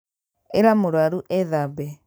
ĩra mũrwaru ethambe